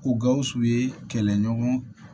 O gawusu ye kɛlɛɲɔgɔn